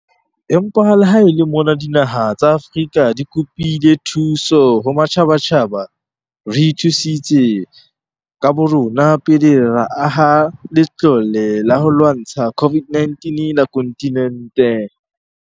Empa le ha e le mona dinaha tsa Afrika di kopile thuso ho matjhabatjhaba, re ithusitse ka borona pele ra aha Latlole la ho lwantsha COVID-19 la kontinente.